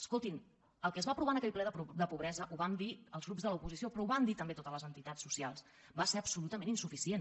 escoltin el que es va aprovar en aquell ple de pobresa ho vam dir els grups de l’oposició però ho van dir també totes les entitats socials va ser absolutament insuficient